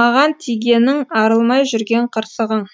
маған тигенің арылмай жүрген қырсығың